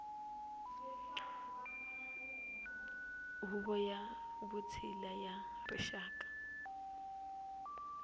huvo ya vutshila ya rixaka